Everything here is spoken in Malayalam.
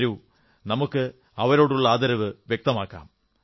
വരൂ നമുക്ക് അവരോടുള്ള ആദരവ് വ്യക്തമാക്കാം